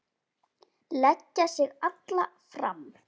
Leggja sig alla fram.